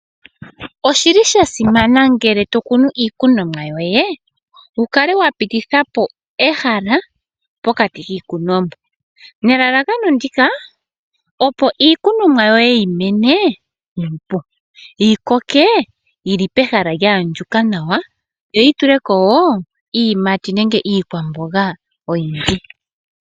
Oshili sha simana ngele tokunu iikunomwa yoye wukale wa pitithapo ehala pokati kiikunomwa nelalakano ndika opo iikunomwa yoye yi mene nuupu ,yikoke yili pehala lya andjuka nawa yo yi tulekp woo iiyimati nenge iikwamboga oyindji.